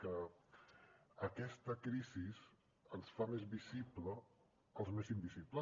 que aquesta crisi ens fa més visibles els més invisibles